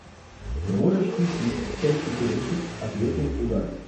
можешь включить часть четырнадцать ответный удар